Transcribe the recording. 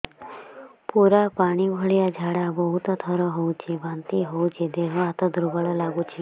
ପୁରା ପାଣି ଭଳିଆ ଝାଡା ବହୁତ ଥର ହଉଛି ବାନ୍ତି ହଉଚି ଦେହ ହାତ ଦୁର୍ବଳ ଲାଗୁଚି